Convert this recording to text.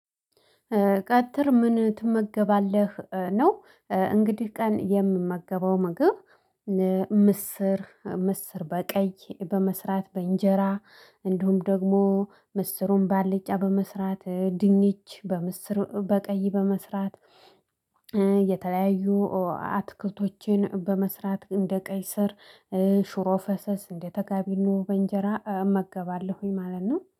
ቀትር ምን ትመገባለህ ነው? እንግዲህ ቀን የምመገበው ምግብ ምስር ምስር በቀይ በመስራት በእንጀራ። እንዲሁም ደግሞ ምስሩን ባልጫ በመስራት ድንች በምስር በቀይ በመስራት። የተለያዩ አትክልቶችን በመስራት እንደ ቀይስር ሽሮ ፈሰስ እንደ ተጋቢኖ በእንጀራ እመገባለሁኝ ማለት ነው